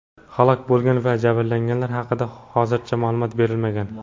Halok bo‘lgan va jabrlanganlar haqida hozircha ma’lumot berilmagan.